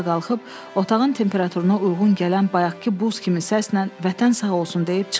Ayağa qalxıb otağın temperaturuna uyğun gələn bayaqkı buz kimi səslə Vətən sağ olsun deyib çıxdı.